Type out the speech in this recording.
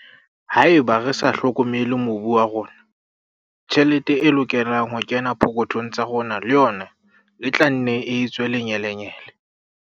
Haeba re sa hlokomele mobu wa rona, tjhelete e lokelang ho kena pokothong tsa rona le yona e tla nne e tswe lenyelenyele.